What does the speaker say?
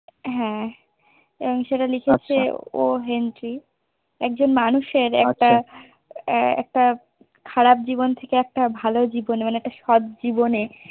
হ্যা এবং সেটা লিখেছে ও হেনরি একজন মানুষের একটা খারাপ জীবন থেকে একটা ভালো জীবনে মানে একটা সৎ জীবনে